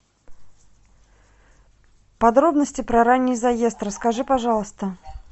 подробности про ранний заезд расскажи пожалуйста